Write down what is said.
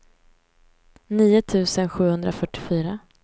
nio tusen sjuhundrafyrtiofyra